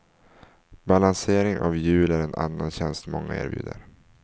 Balansering av hjul är en annan tjänst många erbjuder.